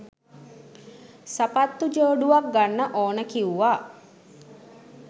සපත්තු ජෝඩුවක් ගන්න ඕන කිව්ව.